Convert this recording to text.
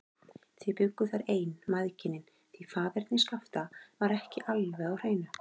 Þau bjuggu þar ein, mæðginin, því faðerni Skapta var ekki alveg á hreinu.